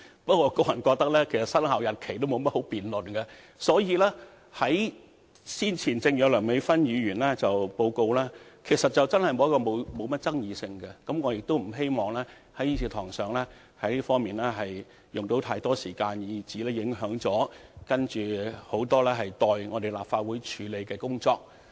不過，我個人認為生效日期並沒有甚麼需要辯論，正如梁美芬議員先前報告時所說，此事真的沒有甚麼爭議性，我不希望在議事堂上為此花太多時間，以致影響很多尚待立法會處理的工作。